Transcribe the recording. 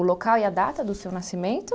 O local e a data do seu nascimento?